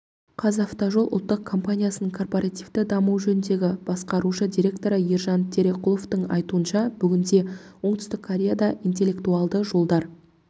қазавтожол ұлттық компаниясының корпоративті даму жөніндегі басқарушы директоры ержан тереқұловтың айтуынша бүгінде оңтүстік кореяда интеллектуалды жолдар